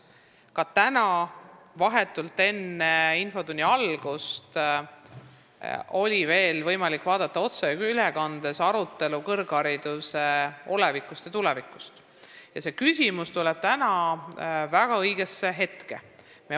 Ka täna vahetult enne infotunni algust oli võimalik otseülekandena vaadata arutelu kõrghariduse olevikust ja tulevikust, nii et see küsimus tuleb väga õigel hetkel.